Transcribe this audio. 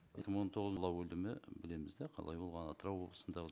екі мың он тоғыз өлімі білеміз де қалай болғаны атырау облысында